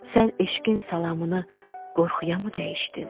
Sən eşqin salamını qorxuyamı dəyişdin?